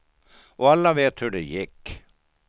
Och alla vet hur det gick.